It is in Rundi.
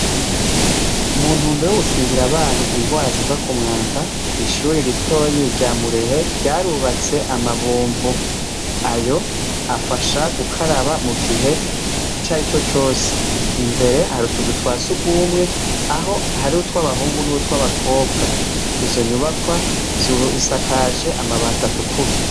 Muntumbero yo gukingira abana ingwara ziva k'umwanda, ishure ritoyi rya Murehe ryarubatse ama bombo, ayo afasha gukaraba mu gihe cari co cose, imbere hari utuzu twa sugumwe aho hari utw'abahungu nutw'abakobwa, izo nyubakwa zisakajwe amabati atukura.